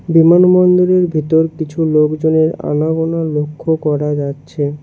বিমানবন্দরের ভেতর কিছু লোকজনের আনাগোনা লক্ষ্য করা যাচ্ছে।